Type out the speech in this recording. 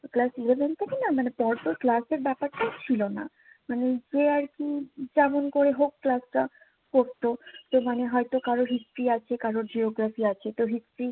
class eleven থেকে নাহ মানি পর পর ক্লাসের ব্যাপারটা ছিলো নাহ মানি যে আর কি যেমন করে হোক ক্লাসটা করতো তো মানি হয়তো কারোর History আছে কারোর Geography আছে তো History